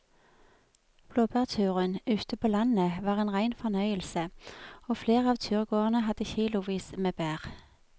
Blåbærturen ute på landet var en rein fornøyelse og flere av turgåerene hadde kilosvis med bær.